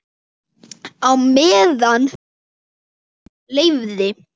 Á meðan heilsan leyfði.